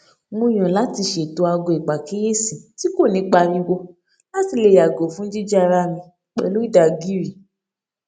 mo yàn láti ṣètò aago ìpàkíyèsí tí kò ní pariwo láti lè yàgò fún jíjí ara mi pẹlú ìdàgíìrì